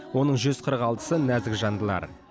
оның жүз қырық алтысы нәзік жандылар